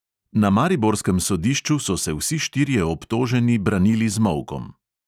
Na mariborskem sodišču so se vsi štirje obtoženi branili z molkom.